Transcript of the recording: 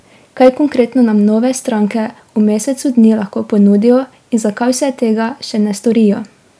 Kaj konkretno nam nove stranke v mesecu dni lahko ponudijo in zakaj vse tega še ne storijo?